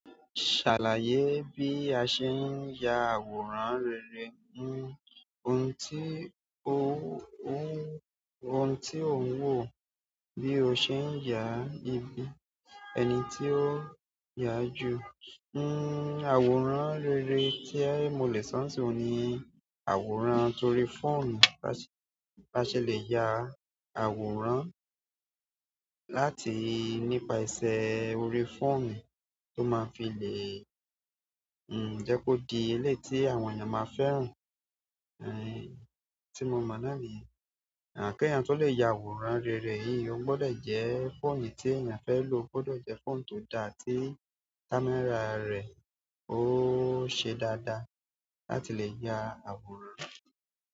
Ṣàlàyé bí a ṣe ń ya àwòrán rere, ohun tí ò ń wò bí o ṣe ń yà ibi ẹni tí ó yà jù. Àwòrán rere tí mo lè sọ̀ sín ọun ni àwòrán torí fóònù. Bí a ṣe le ya àwòrán láti nípa ìṣe orí fóònù tó máa ń fi lé, jẹ́ kó di ilé tí àwọn èèyàn máa ń fẹ́ ràn, tí mo mọ̀ náà ni. À kí ẹnì tó lè ya àwòrán rere yìí, ó gbọdọ jẹ́ fóònù tí èèyàn fẹ́ lò gbọdọ jẹ́ fóònù tó dá tí kámẹ́rà rẹ̀ ó ṣe dáadáa láti lè ya àwòrán.